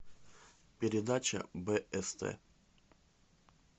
передача бст